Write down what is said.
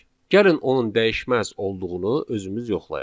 Gəlin onun dəyişməz olduğunu özümüz yoxlayaq.